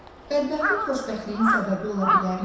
Bədbəxtlik xoşbəxtliyin səbəbi ola bilərmi?